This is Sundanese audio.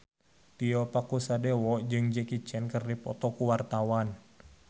Tio Pakusadewo jeung Jackie Chan keur dipoto ku wartawan